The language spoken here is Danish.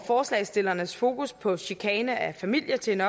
forslagsstillernes fokus på chikane af familier til en